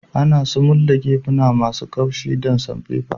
Ana sumul da gefuna masun kaushi da samfefa.